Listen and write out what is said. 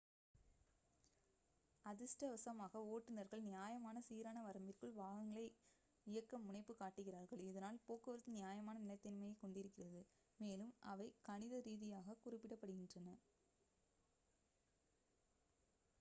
அதிர்ஷ்டவசமாக ஓட்டுநர்கள் நியாயமான சீரான வரம்பிற்குள் வாகனங்களை இயக்க முனைப்பு காட்டுகிறார்கள் இதனால் போக்குவரத்து நியாயமான நிலைத்தன்மையைக் கொண்டிருக்கிறது மேலும் அவை கணித ரீதியாகக் குறிப்பிடப்படுகின்றன